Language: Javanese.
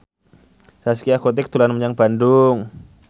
Zaskia Gotik dolan menyang Bandung